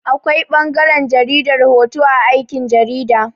Akwai ɓangaran jaridar hoto a aikin jarida.